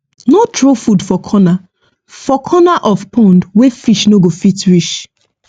no throw food for corner for corner of pond wey fish no go fit reach